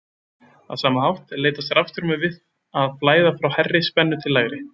Á sama hátt leitast rafstraumur við að flæða frá hærri spennu til lægri.